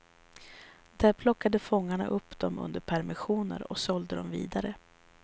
Där plockade fångarna upp dem under permissioner och sålde dem vidare.